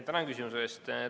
Tänan küsimuse eest!